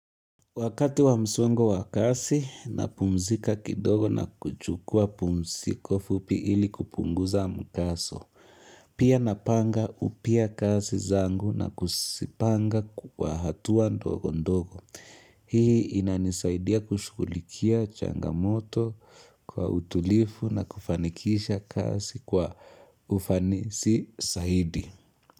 Wakati wa msongo wa kazi napumzika kidogo na kuchukua pumziko fupi ili kupunguza mkazo. Pia napanga upya kazi zangu na kuzipanga kwa hatua ndogo ndogo. Hii inanisaidia kushughulikia changamoto kwa utulivu na kufanikisha kazi kwa ufanisi zaidi.